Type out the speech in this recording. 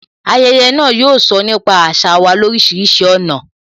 Ayẹyẹ náà, yóò sọ nípa àṣà wa lorisirisi ọ̀nà